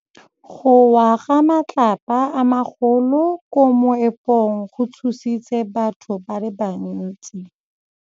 Go wa ga matlapa a magolo ko moepong go tshositse batho ba le bantsi.